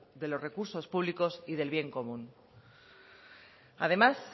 de los recursos públicos y del bien común además